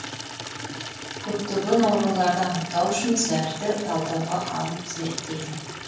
көптеген ауруларды анықтау үшін зәрді талдауға алып зерттейді